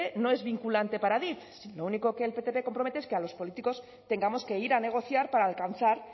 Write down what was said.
no es vinculante para adif sino lo único que el ptp compromete es que los políticos tengamos que ir a negociar para alcanzar